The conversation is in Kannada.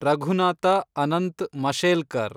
ರಘುನಾಥ ಅನಂತ್ ಮಶೇಲ್ಕರ್